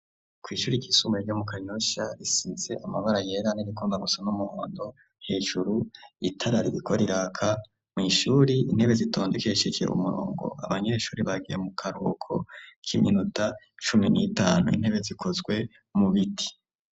Kw'ishuri ryisumbuye ryo mu kanyosha risize amabara yera n'irigomba gusa n'umuhondo hejuru itarara ririko mw’ishuri intebe zitondekesheje umurongo abanyeshuri bagiye mu karuhuko k'iminuta cumi n'itanu intebe zikozwe mu biti.